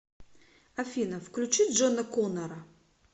афина включи джона коннора